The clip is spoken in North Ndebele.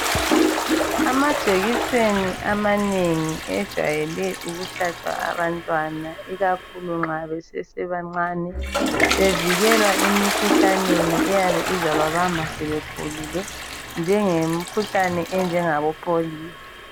Amajekiseni amanengi ejayelwe ukuhlatshwa abantwana ikakhulu nxa besesebancane, bevikelwa emikhuhlaneni eyabe izababamba asebekhulile njengemikhuhlane enjengabo pholiyo.